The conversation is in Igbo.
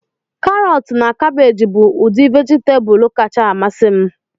Karọtu na kabeeji bụ udi vejitabulu kacha amasị m